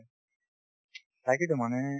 তাকেতো মানে